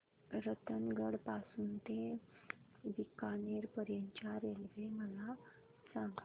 रतनगड पासून ते बीकानेर पर्यंत च्या रेल्वे मला सांगा